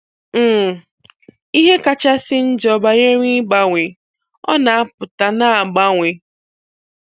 um Ihe kachasị njọ banyere ịgbanwee, ọ na-apụta, na-agbanwe.